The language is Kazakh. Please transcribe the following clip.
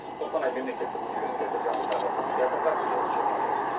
қостанай мемлекеттік университеті жанындағы бұл театрға биыл жиырма жыл